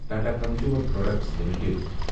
Tata consumer products limited